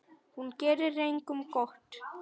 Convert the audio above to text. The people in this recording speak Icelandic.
Hún gerir engum gott.